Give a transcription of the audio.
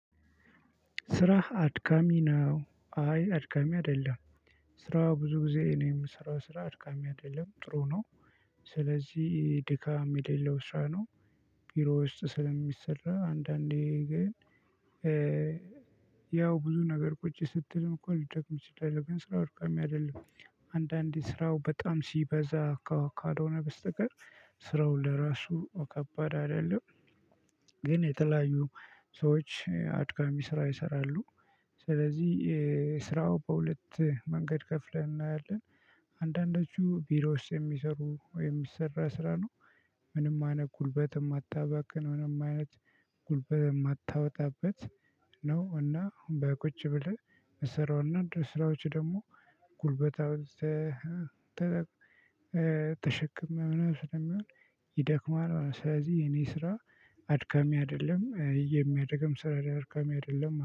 ስራህ አድካሚ ነው አይ አድካሚ አይደለም። ስራ ብዙ ጊዜ እኔ ምሰራው ስራ አድካሚ አይደለም ጥሩ ነው። ስለዚህ ድካም የሌለው ስራ ነው። ቢሮ ውስጥ ስለሚሰራ አንዳንዴ ግን ያው ብዙ ነገር ቁጭ ስትልም እኮ ሊደክም ይችላል ግን ስራው አድካሚ አይደለም። አንዳንዴ ስራው በጣም ሲበዛ ካው ካልሆነ በስተቀር ስራው ለራሱ ከባድ አይደለም። ግን የተለያዩ ሰዎች አድካሚ ስራ ይሰራሉ። ስለዚህ ስራው በሁለት መንገድ ከፍለን እናያለን። አንዳንዶቹ ቢሮ ውስጥ የሚሰሩ ወይም ሚሰራ ስራ ነው። ምንም አይነት ጉልበት እማታባክን ምንም አይነት ጉልበ እማታወጣበት ነው። እና በቁጭ ብለህ ምሰራው እና ድስራዎች ደግሞ ጉልበት አውጥተህ ተጠ ተሸክመህ ምናምን ስለሚሆን ይደክማል። ማለት ስለዚህ የኔ ስራ አድካሚ አይደለም የሚያደክም ስራ አድካሚ አይደለም ማ